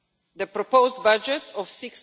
The proposed budget of